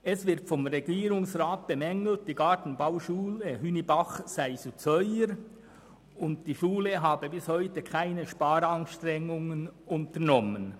Es wird vom Regierungsrat bemängelt, die Gartenbauschule Hünibach sei zu teuer, und die Schule habe bis heute keine Sparanstrengungen unternommen.